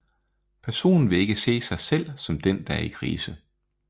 Personen vil ikke se sig selv som den der er i krise